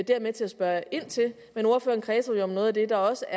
jeg med til at spørge ind til men ordføreren kredsede jo om noget af det der også